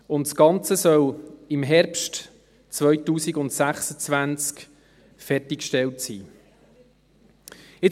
Das Ganze soll im Herbst 2026 fertig gestellt sein.